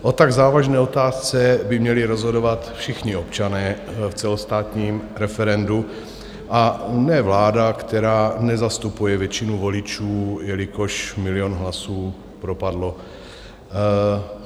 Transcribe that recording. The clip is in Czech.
O tak závažné otázce by měli rozhodovat všichni občané v celostátním referendu a ne vláda, která nezastupuje většinu voličů, jelikož milion hlasů propadlo.